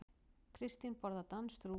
Kristín borðar danskt rúgbrauð.